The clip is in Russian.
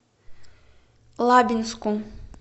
лабинску